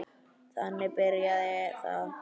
Þannig byrjaði það.